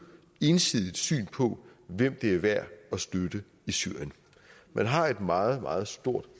ensidigt syn på hvem det er værd at støtte i syrien man har et meget meget stort